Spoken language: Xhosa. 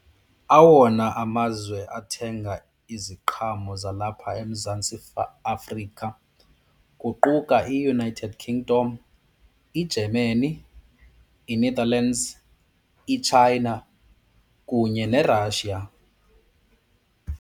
Awona amazwe athenga iziqhamo zalapha eMzantsi Afrika kuquka iUnited Kingdom, iGermany, iNetherlands iChina kunye neRussia.